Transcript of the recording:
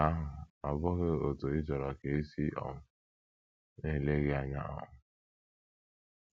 Nke ahụ ọ́ bụghị otú ị chọrọ ka e si um na - ele gị anya um?